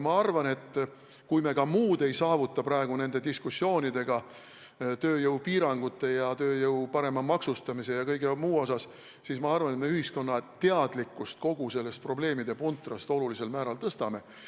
Ma arvan, kui me ka muud praegu nende diskussioonidega tööjõupiirangute ja tööjõu parema maksustamise ja kõige muu üle ei saavuta, siis ühiskonna teadlikkust kogu sellest probleemide puntrast me ikkagi olulisel määral tõstame.